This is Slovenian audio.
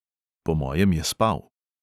Po mojem je spal.